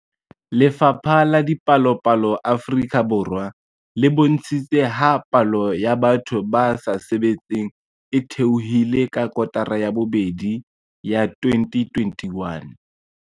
Lefapha la Dipalopalo Afrika Borwa le bontshitse ha palo ya batho ba sa sebetseng e theohile ka kotara ya bobedi ya 2021.